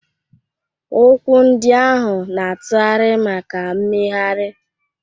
Ụkwụ ndị ahụ na-atụgharị maka mmegharị.